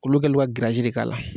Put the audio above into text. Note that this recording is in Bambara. Olu kɛlen don ka giraji de k'a la.